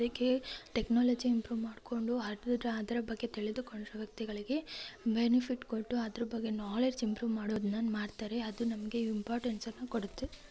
ಅದಕ್ಕೆ technology improve ಮಾಡ್ಕೊಂಡು ಅದ್ ಅದರ ಬಗ್ಗೆ ತಿಳಿದುಕೊಳ್ಳುವ ವ್ಯಕ್ತಿಗಳಿಗೆ ಬೆನಿಫಿಟ್‌ ಕೊಟ್ಟು ಅದರ ಬಗ್ಗೆ ನಾಲ್ಡೆಜ್‌ ಇಂಪ್ರೂ ಮಾಡೋದನ್ನ ಮಾಡ್ತಾರೆ ಅದು ನಮಗೆ ಇಂಪೋರ್ಟೆನ್ಸನ್ನ ಕೊಡುತ್ತೆ.